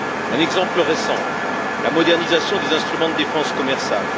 Un exemple récent la modernisation des instruments de défense commerciale.